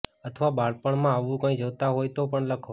અથવા બાળપણમાં આવું કઈ જોતા હોય તો પણ લખો